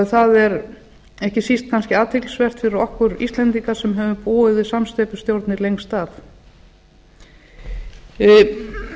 það er ekki síst kannski athyglisvert fyrir okkur íslendinga sem höfum búið við samsteypustjórnir lengst af það væri út